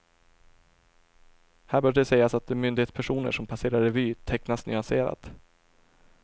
Här bör det sägas att de myndighetspersoner som passerar revy, tecknas nyanserat.